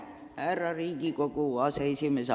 Härra Riigikogu aseesimees!